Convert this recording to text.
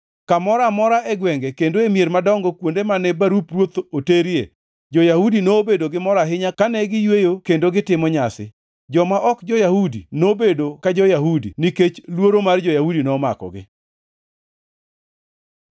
Kamoro amora e gwenge kendo e mier madongo kuonde mane barup ruoth oterie, jo-Yahudi nobedo gi mor ahinya kane giyweyo kendo gitimo nyasi. Joma ok jo-Yahudi nobedo ka jo-Yahudi nikech luoro mar jo-Yahudi nomakogi.